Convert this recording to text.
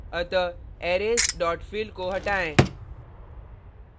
अतः arrays dot fill को हटाएँ